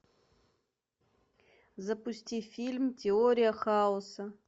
запусти фильм теория хаоса